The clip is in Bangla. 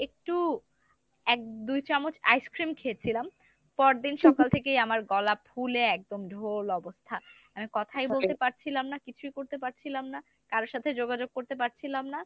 একটু এক দুই চামচ ice-cream খেয়েছিলাম পরদিন সকাল থেকেই আমার গলা ফুলে একদম ঢোল অবস্থা। আমি কথাই বলতে পারছিলাম না, কিছুই করতে পারছিলাম না, কারো সাথে যোগাযোগ করতে পারছিলাম না।